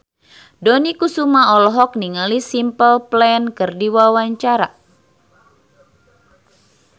Dony Kesuma olohok ningali Simple Plan keur diwawancara